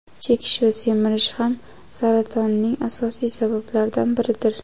Chekish va semirish ham saratoning asosiy sabablaridan biridir.